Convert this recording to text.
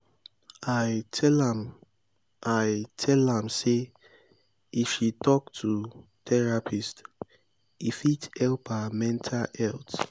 i tell am i tell am sey if she tok to therapist e fit help her mental health.